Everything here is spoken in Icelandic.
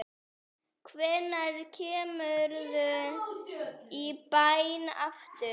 Hvenær kemurðu í bæinn aftur?